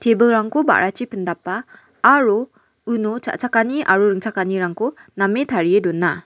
tebilrangko ba·rachi pindapa aro uno cha·chakani aro ringchakanirangko name tarie dona.